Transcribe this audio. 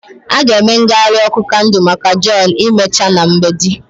Ha ga-eme ngagharị ọkụ kandụl maka john emechaa na mgbede.